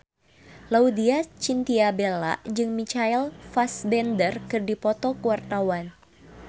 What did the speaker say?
Laudya Chintya Bella jeung Michael Fassbender keur dipoto ku wartawan